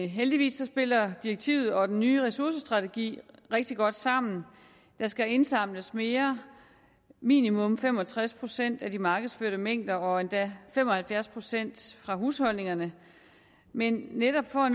heldigvis spiller direktivet og den nye ressourcestrategi rigtig godt sammen der skal indsamles mere minimum fem og tres procent af de markedsførte mængder og endda fem og halvfjerds procent fra husholdningerne men netop for